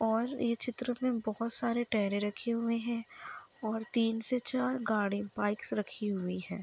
और ये चित्र मै बहोत सारे टयरें रखे हुए है और तीन से चार गाड़ी बाइक्स रखी हुई है।